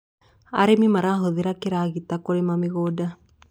arĩmi marahuthira kĩragita kurima mĩgũnda